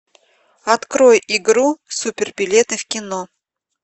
открой игру супер билеты в кино